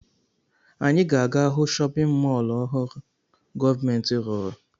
Anyị ga-aga hụ chọpịn mọọlụ ọhụrụ gọọmentị rụrụ.